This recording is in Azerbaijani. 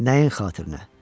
Nəyin xatirinə?